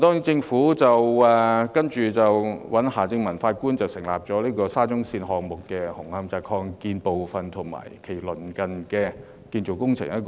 政府找來夏正民法官主持沙中綫項目紅磡站擴建部分及其鄰近的建造工程調查委員會。